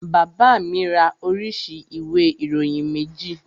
Bàbá mi ra oríṣi ìwé ìròyìn méjì